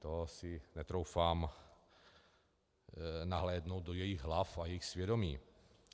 To si netroufám nahlédnout do jejich hlav a jejich svědomí.